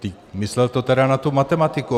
Myslel to tedy na tu matematiku.